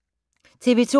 TV 2